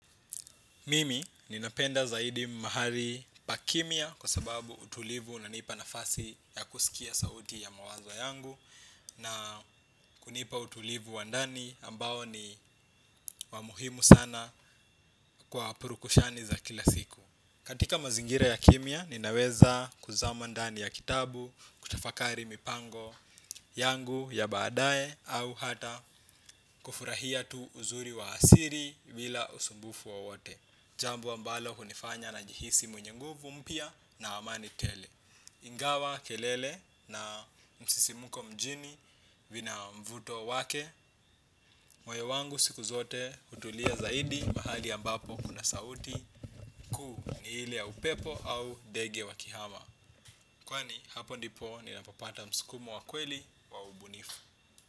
Mimi ninapenda zaidi mahali pakimya kwa sababu utulivu unanipa nafasi ya kusikia sauti ya mawazo yangu na kunipa utulivu wa ndani ambao ni wa muhimu sana kwa purukushani za kila siku. Katika mazingira ya kimya ninaweza kuzama ndani ya kitabu, kutafakari mipango yangu ya baadaye au hata kufurahia tu uzuri wa asili bila usumbufu wowote. Jambu ambalo hunifanya najihisi mwenye nguvu mpya na amani tele. Ingawa kelele na msisimuko mjini vina mvuto wake. Moyo wangu siku zote hutulia zaidi mahali ambapo kuna sauti kuu ni hile ya upepo au ndege wakihama. Kwani hapo ndipo ninapopata msukumo wa kweli wa ubunifu.